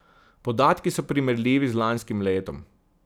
Podatki so primerljivi z lanskim letom.